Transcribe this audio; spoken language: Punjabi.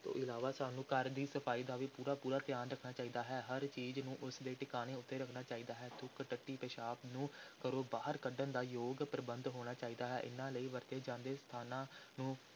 ਤੋਂ ਇਲਾਵਾ ਸਾਨੂੰ ਘਰ ਦੀ ਸਫ਼ਾਈ ਦਾ ਵੀ ਪੂਰਾ ਪੂਰਾ ਧਿਆਨ ਰੱਖਣਾ ਚਾਹੀਦਾ ਹੈ, ਹਰ ਚੀਜ਼ ਨੂੰ ਉਸ ਦੇ ਟਿਕਾਣੇ ਉੱਤੇ ਰੱਖਣਾ ਚਾਹੀਦਾ ਹੈ, ਥੁੱਕ, ਟੱਟੀ, ਪਿਸ਼ਾਬ ਨੂੰ ਘਰੋਂ ਬਾਹਰ ਕੱਢਣ ਦਾ ਯੋਗ ਪ੍ਰਬੰਧ ਹੋਣਾ ਚਾਹੀਦਾ ਹੈ, ਇਨ੍ਹਾਂ ਲਈ ਵਰਤੇ ਜਾਂਦੇ ਸਥਾਨਾਂ ਨੂੰ